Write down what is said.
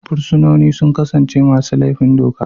Fursunonin sun kasance masu laifin doka.